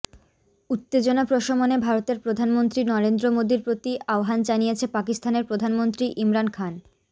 উত্তেজনা প্রশমনে ভারতের প্রধানমন্ত্রী নরেন্দ্র মোদির প্রতি আহ্বান জানিয়েছে পাকিস্তানের প্রধানমন্ত্রী ইমরান খান